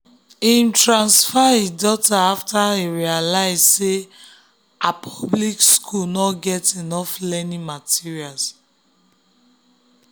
him transfer im daughter after him realize say her public school no get enough learning materials.